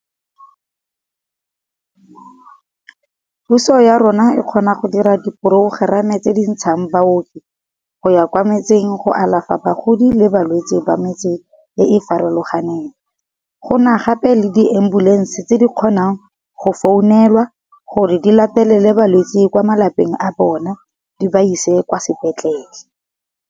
Puso ya rona e kgona go dira diprogerama tse di ntshang baoki, go ya kwa metseng go alafa bagodi le balwetse ba metseng e e farologaneng. Gona gape le di-ambulance tse di kgonang go founelwa gore di latelele balwetse kwa malapeng a bona di ba ise kwa sepetlele.